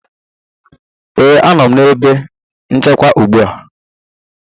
ee, a nọ m na ebe nchekwa ugbu a